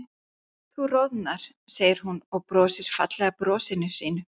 Þú roðnar, segir hún og brosir fallega brosinu sínu.